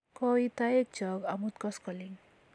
Koit toek chok amut koskoling'